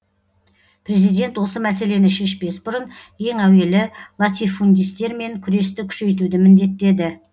президент осы мәселені шешпес бұрын ең әуелі латифундистермен күресті күшейтуді міндеттеді